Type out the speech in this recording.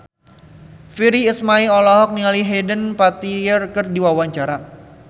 Virnie Ismail olohok ningali Hayden Panettiere keur diwawancara